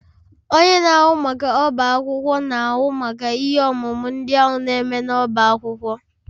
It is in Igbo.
Onye na-ahụ maka ọbá akwụkwọ na-ahụ maka ihe omume ndị a na-eme n'ọbá akwụkwọ ahụ